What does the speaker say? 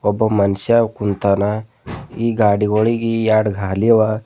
ಒಬ್ಬ ಮನುಷ್ಯ ಕುಂತಾನ ಈ ಗಾಡಿಗುಳಿಗಿ ಎರಡು ಗಾಲಿ ಅವ.